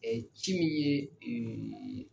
ci minnu ye